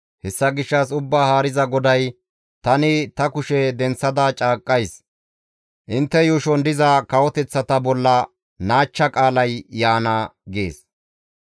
Hessa gishshas Ubbaa Haariza GODAY, ‹Tani ta kushe denththada caaqqays; intte yuushon diza kawoteththata bolla naachcha qaalay yaana› gees.